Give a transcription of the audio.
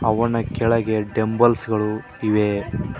ಅವನ ಕೆಳಗೆ ಡೆಂಬಲ್ಸ ಗಳು ಇವೆ.